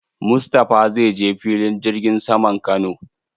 Mustapha zai je filin jirgin saman Kano.